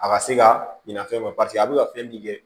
A ka se ka ɲinɛ fɛn ma paseke a bɛ ka fɛn min kɛ